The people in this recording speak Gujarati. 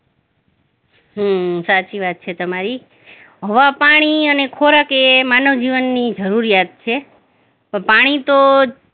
ઈ સાચી વાત છે તમારી હવા, પાણી અને ખોરાક એ માનવ જીવનની જરૂરિયાત છે તો પાણી તો